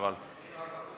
Istungi lõpp kell 10.55.